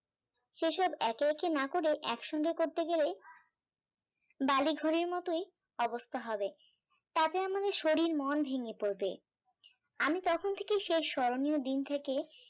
সেসব একে একে না করে একসঙ্গে করতে গেলে বালি ঘুড়ির মতোই অবস্থা হবে তাতে আমাদের শরীর মন ভেঙে পপরবে আমি তখন থেকেই সে স্মরণীয় দিন টাকে